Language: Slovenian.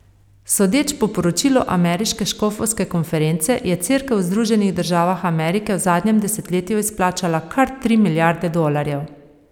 Sodeč po poročilu ameriške škofovske konference je cerkev v Združenih državah Amerike v zadnjem desetletju izplačala kar tri milijarde dolarjev.